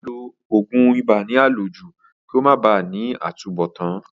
Kí ó máa lo ògùn ibà ní àlòjù kí ó máa ba à ní àtúnbọ̀tán